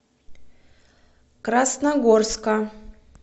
красногорска